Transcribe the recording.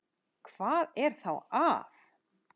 Hvað er þá að?